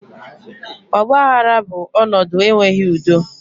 Ọgbaghara bụ ọnọdụ enweghị udo